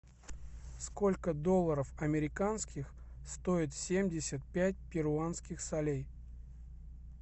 сколько долларов американских стоит семьдесят пять перуанских солей